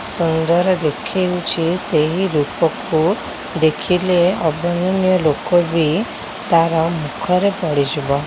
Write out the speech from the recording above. ସୁନ୍ଦର ଦେଖା ହେଉଛି ସେହି ରୂପକୁ ଦେଖିଲେ ।